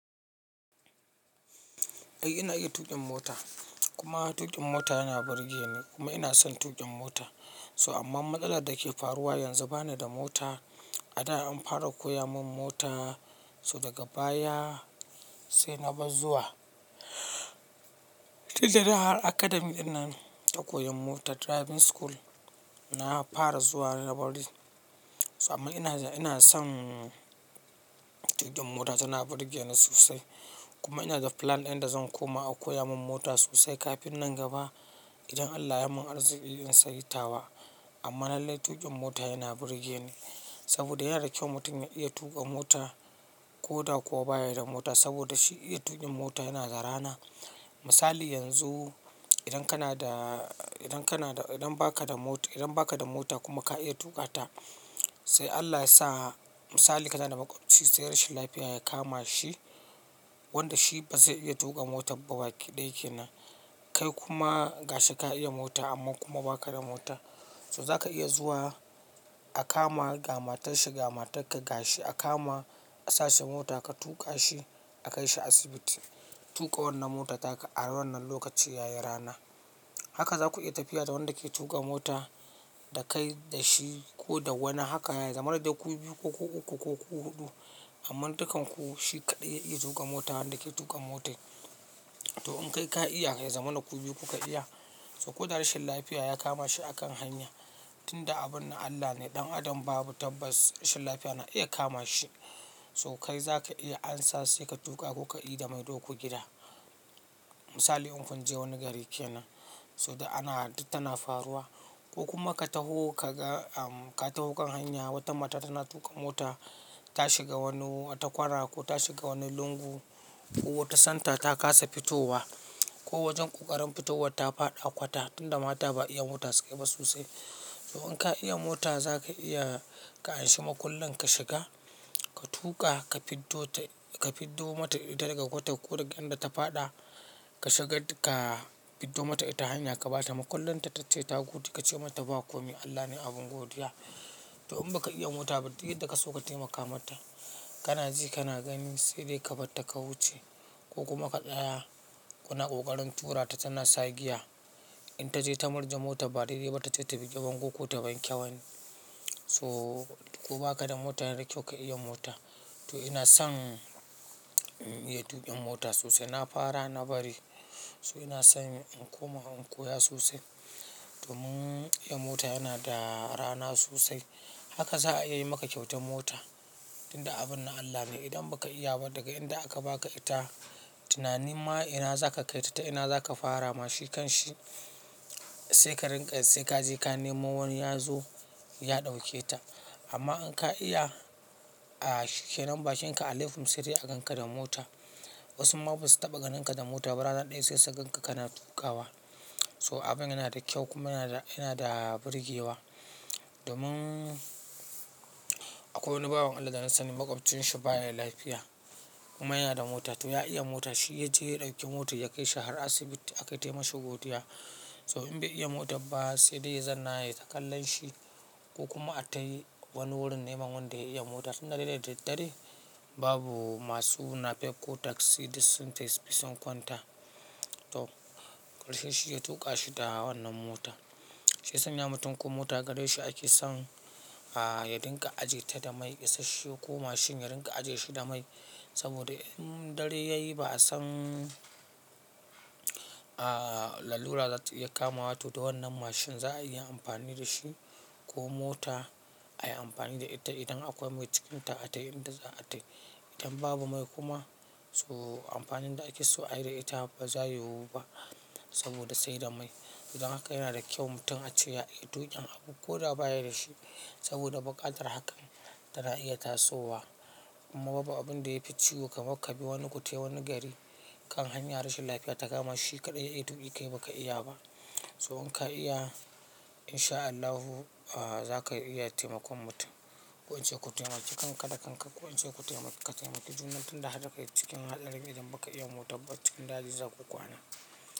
Eh ina iya tuƙin mota kuma tuƙin mota yana burge ni kuma ina son inyi tuƙin mota. So amma matsalar da ke faruwa yanzu ba ni da mota. A da an fara koya mun mota, so daga baya sai na bar zuwa. Tin da na haa academy ɗinnan ta koyan mota, driving school, na fara zuwa na bari. So amma ina, ina son tuƙin mota tana burge ni sosai. Kuma ina da plan inda zan koma a koya mun mota sosai kafin nan gaba. Idan Allah ya mun arzikin in sayi tawa. Amma lallai tuƙin mota yana burge ni. Saboda yana da kyau mutum ya iya tuƙa mota ko da kuwa baya da mota saboda shi iya tuƙin mota yana zara na. Misali yanzu idan kana da, idan kana da, idan ba ka da mota, idan ba ka da mota kuma ka iya tuƙa ta, sai Allah ya sa misali kanada maƙoci sai rashin lafiya ya kama shi wanda shi ba zai iya tuƙa mota ba baƙi ɗaya kenan. Kai kuma gashi ka iya mota amma kuma ba ka da mota. So za ka iya zuwa a kama ga matarshi, ga matarka gashi a kama a sashi mota ka tuƙa shi a kai shi asibiti. Tuƙa wannan motar ta ka a wannan lokaci yayi rana. Haka za ku iya tafiya da wanda ke tuƙa mota da kai da shi ko da wani haka yayi. Kamar dai ku biyu ko ku uku ko ku huɗu amma dukkan ku shi kaɗai ya iya tuƙa mota wanda ke tuƙa motar. To in kai ka iya ya zamana ku biyu kuka iya. So ko da rashin lafiya ya kama shi a kan hanya. Tin da abun na Allah ne, ɗan adam babu tabbas rashin lafiya na iya kama shi. So kai za ka iya ansa sai ka tuƙa ko ka yi da maido ku gida. Misali in kun je wani gari kenan so da ana tana faruwa ko kuma ka taho ka ga, ka taho kan hanya wata mata tana tuƙa mota ta shiga wani ta kwana ko ta shiga wani lungu ko wata santa ta kasa fitowa ko wajen ƙoƙarin fitowar ta faɗa a kwata tin da mata ba iya mota suke ba sosai. To in ka iya mota za ka iya ka anshi makullan ka shiga, ka tuƙa ka fiddo ta, ka fiddo mata ita daga kwata ko daga inda ta faɗa. Ka shiga ka fiddo mata ita hanya ka bata makullan ta tace ta gode ka ce mata ba komai Allah ne abun godiya. To in ba ka iya mota ba duk inda ka so ka taimaka mata. Kana ji kana gani sai dai ka barta ka wuce. Ko kuma ka tsaya kuna ƙoƙarin tura ta tana sa giya. In ta je ta murja motar ba dai dai ba tace ta bi ta kanku ko ta wanke wani. So ko ba ka da mota yana da kyau ka iya mota. To ina son in iya tuƙin mota sosai. Na fara na bari so ina son in koma in koya sosai. To mun iya mota yana da rana sosai. Haka za a iya yi maka kyautan mota. Tin da abun na Allah ne idan ba ka iya ba daga inda aka baka ita tunani ma ina za ka kai ta ta ina za ka fara ma shi kan shi sai ka rinƙa sai ka je ka nemo wani ya zo ya ɗauke ta. Amma in ka iya, a, shikkenan bakin ka a lekum sai dai a ganka da mota. Wasu ma basu taɓa ganinka da mota ba rana ɗaya sai sai ganka kana tuƙawa. So abun yana da kyau kuma yana da, yana da burgewa. Domun akwai wani baban Allah da na sani maƙobcin shi baya da lafiya kuma yana da mota. To ya iya mota shi ya je ya ɗauki motar ya kai shi har asibiti aka taimashi godiya. So in bai iya mota ba sai dai zanna ya yi ta kallon shi ko kuma a tayi wani wurin nemo wanda ya iya mota tin da dai da daddare babu masu nafek ko taksi dis sentes fison kwanta. To ƙarshe shi ya tuƙa shi da wannan mota. Shi sanya mutum kuma ta gadon shi ake son, a, yaɗinka ajiye ta da mai isasshe ko mashin yaɗinka ajiye shi da mai. Saboda in dare yayi ba a san, a, lalura za su iya kama wa to da wannan mashin za a iya amfani da shi ko mota a yi amfani da ita idan akwai mai cikin ta a tai inda za a tail. Idan babu mai kuma so amfanin da ake so a yi da ita ba zai yiwu ba saboda sai da mai. To don haka mutum yana da kyau ace ya iya tukin abu koda baya da dashi saboda bukatar hakan tana ita tasowa kuma babu abun da ya fi ciwo kamar ka bi wani ku tai wani gari kan hanya rashin lafiya ta kama shi kaɗai ya iya tuƙi kai baka iya ba. So in ka iya in sha Allahu, a, za ka iya taimakon mutum. Ko ince ku taimaki kanka da kanka ku ince ku taimaki ka taimaki junan ku tin da haka cikin haɗarin idan baka iya mota ba cikin daji za ku kwana.